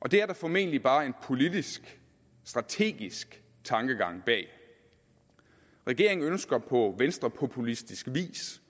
og det er der formentlig bare en politisk strategisk tankegang bag regeringen ønsker på venstrepopulistisk vis